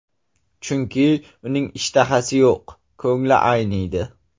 Chunki uning ishtahasi yo‘q, ko‘ngli ayniydi.